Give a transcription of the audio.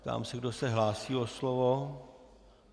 Ptám se, kdo se hlásí o slovo.